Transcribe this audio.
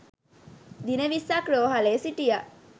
දින විස්සක් රෝහලේ සිටියා.